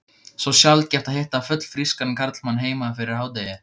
Svo sjaldgæft að hitta fullfrískan karlmann heima fyrir hádegi.